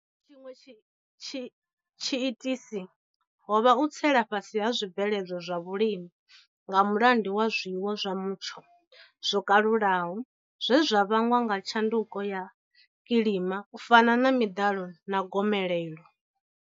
Tshiṅwe tshiitisi ho vha u tsela fhasi ha zwibveledzwa zwa vhulimi nga mulandu wa zwiwo zwa mutsho zwo kalulaho zwe zwa vhangwa nga tshanduko ya kilima u fana na miḓalo na gomelelo.